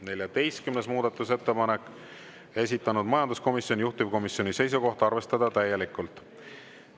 14. muudatusettepanek, esitanud majanduskomisjon, juhtivkomisjoni seisukoht on arvestada täielikult.